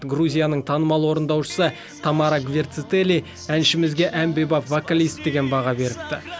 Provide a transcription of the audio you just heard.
грузияның танымал орындаушысы тамара гвертецели әншімізге әмбебап вокалист деген баға беріпті